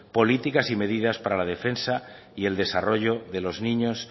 políticas y medidas para la defensa y el desarrollo de los niños